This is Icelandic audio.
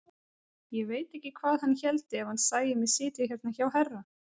Ég veit ekki hvað hann héldi ef hann sæi mig sitja hérna hjá herra!